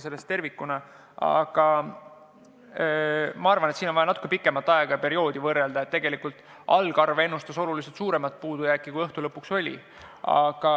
Ma arvan, et vaja oleks natuke pikemat perioodi võrrelda ja tegelikult algne arv ennustas oluliselt suuremat puudujääki, kui õhtu lõpuks oli.